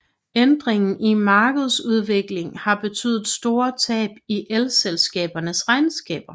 Ændringen i markedsudvikling har betydet store tab i elselskabernes regnskaber